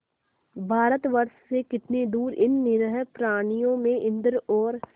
भारतवर्ष से कितनी दूर इन निरीह प्राणियों में इंद्र और